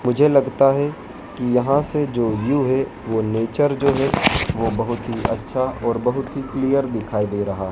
मुझे लगता है की यहाँ से जो भी है वो नेचर जो है वह बहोत ही अच्छा और बहोत ही क्लियर दिखाई दे रहा है।